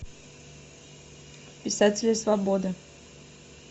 писатели свободы